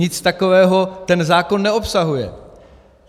Nic takového ten zákon neobsahuje.